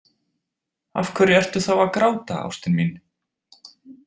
Af hverju ertu þá að gráta, ástin mín?